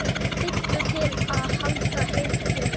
Hillu til að halda heitu?